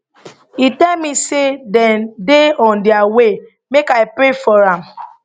e tell me say dem dey on dia way make i pray for am